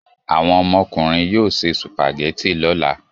Àwọn ọmọkùnrin yóò se sùpàgẹ́tì lọ́la.